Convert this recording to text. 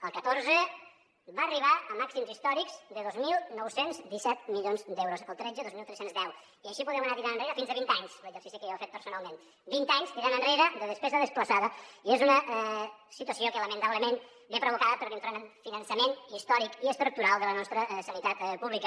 el catorze va arribar a màxims històrics de dos mil nou cents i disset milions d’euros el tretze dos mil tres cents i deu i així podem anar tirant enrere fins a vint anys l’exercici que jo he fet personalment vint anys tirant enrere de despesa desplaçada i és una situació que lamentablement està provocada per l’infrafinançament històric i estructural de la nostra sanitat pública